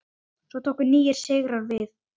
Svo tóku nýir sigrar við.